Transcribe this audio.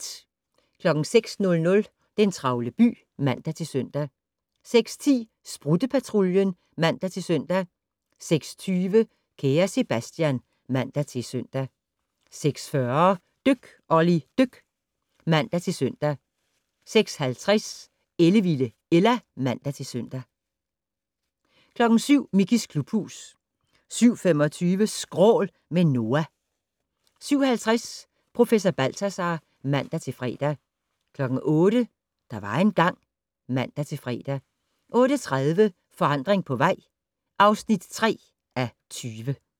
06:00: Den travle by (man-søn) 06:10: Sprutte-Patruljen (man-søn) 06:20: Kære Sebastian (man-søn) 06:40: Dyk Olli dyk (man-søn) 06:50: Ellevilde Ella (man-søn) 07:00: Mickeys klubhus 07:25: Skrål - med Noah 07:50: Professor Balthazar (man-fre) 08:00: Der var engang ... (man-fre) 08:30: Forandring på vej (3:20)